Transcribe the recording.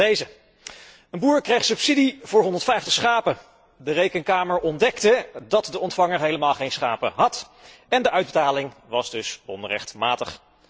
Zoals deze een boer krijgt subsidie voor 150 schapen, de Rekenkamer ontdekte dat de ontvanger helemaal geen schapen had, en de uitbetaling was dus onrechtmatig.